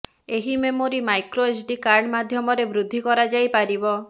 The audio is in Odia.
ଏହି ମେମୋରି ମାଇକ୍ରୋ ଏଚ୍ଡି କାର୍ଡ ମାଧ୍ୟମରେ ବୃର୍ଦ୍ଧି କରାଯାଇପାରିବ